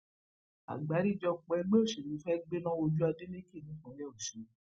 àgbáríjọpọ ẹgbẹ òṣèlú fẹẹ gbéná wójú adeleke nípínlẹ ọsùn